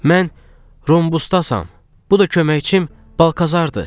Mən Rhombusdasam, bu da köməkçim Balkazardır.